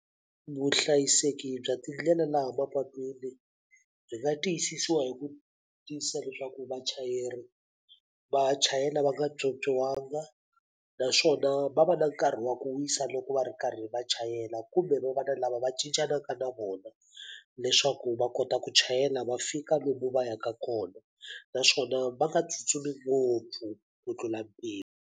Vuhlayiseki bya tindlela laha mapatwini byi nga tiyisisiwa hi ku tiyisisa leswaku vachayeri va chayela va nga pyopyiwangi, naswona va va na nkarhi wa ku wisa loko va ri karhi va chayela kumbe va va na lava va cincanaka na vona. Leswaku va kota ku chayela va fika lomu va yaka kona. Naswona va nga tsutsumi ngopfu ku tlula mpimo.